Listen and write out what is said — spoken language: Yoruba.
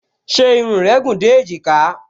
Ṣé irun rẹ gùn dé èjìká?